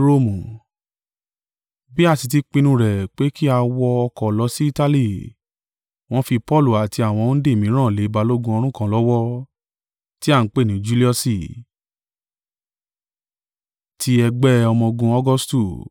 Bí a sì ti pinnu rẹ̀ pé kí a wọ ọkọ̀ lọ sí Itali, wọn fi Paulu àti àwọn òǹdè mìíràn lé balógun ọ̀rún kan lọ́wọ́, ti a ń pè ní Juliusi, ti ẹgbẹ́ ọmọ-ogun Augustu.